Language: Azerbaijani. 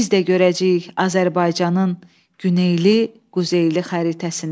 Biz də görəcəyik Azərbaycanın güneyli, quzeyli xəritəsini.